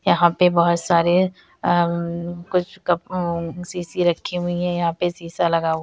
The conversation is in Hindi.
यहाँ पे बहुत सारे अ उम्म कुछ कप उम्म सीसी रखी हुई है यहाँ पे शीशा लगा हुआ --